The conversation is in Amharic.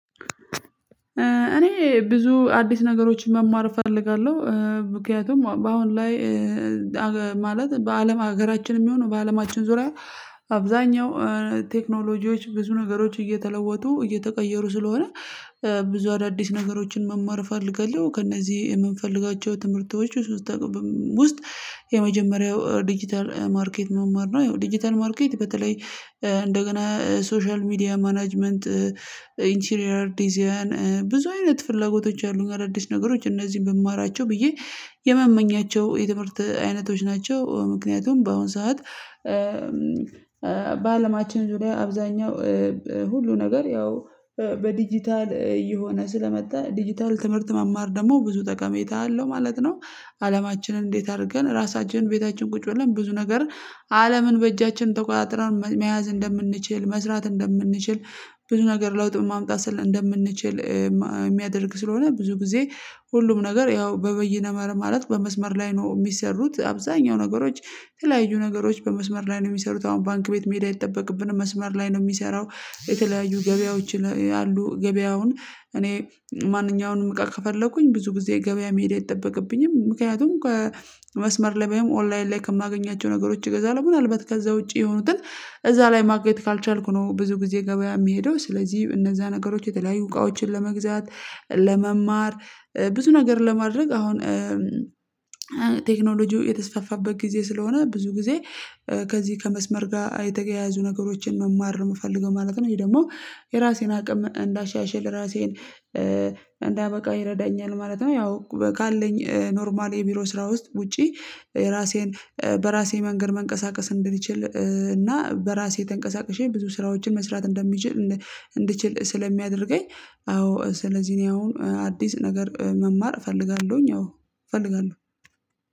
እኔ ብዙ አዲስ ነገሮችን መማር እፈልጋለው ምክንያቱም በአሁን ላይ ማለት በአለም ሀገራችን የሚሆነው በአለማችን ዙሪያ አብዛኛው ቴክኖሎጂዎች ብዙ ነገሮች እየተለወጡ እየተቀየሩ ስለሆነ ብዙ አዳዲስ ነገሮችን መማር እፈልጋለው ከእነዚህ የምንፈልጋቸው ትምህርቶች ውስጥ የመጀመሪያው ዲጂታል ማርኬት መማር ነው ዲጂታል ማርኬት በተለይ እንደገና ሶሻል ሚዲያ ማናጅመንት ኢንቺሪየር ዲዛይን ብዙ አይነት ፍላጎቶች አሉ አዳአዲስ ነገሮች እነዚህን ብማራቸው ብዬ የመመኛቸው የትምህርት አይነቶች ናቸው። ምክንያቱም በአሁን ሰዓት በአለማችን ዙሪያ አብዛኛው ውስጥ የመጀመሪያው ዲጂታል ማርኬት መማር ነው። ያው ዲጂታል ማርኬት በተለይ እንደገና ሶሻል ሚዲያ ማናጅመንት ኢንችሪየር ዲዛይን ብዙ አይነት ፍላጎቶች አሉ አዳዲስ ነገሮች እነዚህን ብማራቸው ብዬ የሚያደርግ ስለሆነ ብዙ ጊዜ ሁሉም ነገር ያው በበይነ መረብ ማለት በመስመር ላይ ነው የሚሰሩት። አብዛኛው ነገሮች ተለያዩ ነገሮች በመስመር ላይ ነው የሚሰሩት አሁን ባንክ ቤት አይጠበቅብንም መስመር ላይ ነው የሚሰራው የተለያዩ ገበያዎች ያሉ ገበያውን እኔ ማንኛውንም እቃ ከፈለኩኝ ብዙ ጊዜ ገበያ መሄድ አይጠበቅብኝም ምክንያቱም ከመስመር ለመሄድ ኦንላይን ላይ ከማገኛቸው ነገሮች አገዛለው ምናልባት ከዛ ውጪ የሆኑትን እዛ ላይ ማግኘት ካልቻልኩ ነው ብዙ ጊዜ ገበያ የሚሄደው ስለዚህ እነዛ ነገሮች የተለያዩ እቃዎችን ለመግዛት ለመማር ብዙ ነገር ለማድረግ አሁን ቴክኖሎጂው የተስፋፋበት ጊዜ ስለሆነ ብዙ ጊዜ ከዚህ ከመስመር ጋር የተገያያዙ ነገሮችን መማር የምፈልገው ማለት ነው። ወይም ደግሞ የራሴን አቅም እንዳሻሻል የራሴን እንዳበቃው ይረዳኛል ማለት ነው ያው ካለኝ ኖርማል የቢሮ ስራ ውስጥ ውጪ ራሴን በራሴ መንገድ መንቀሳቀስ እንድንችል እና በራሴ ተንቀሳቅሼ ብዙ ስራዎችን መስራት እንደሚችል እንድችል ስለሚያደርገኝ አዎ ስለዚህ እኔ አሁን አዲስ ነገር መማር እፈልጋለሁኝ አዎ እፈልጋለሁ።